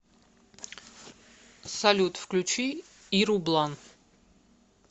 салют включи иру блан